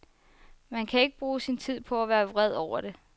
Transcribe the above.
Man kan ikke bruge sin tid på at være vred over det.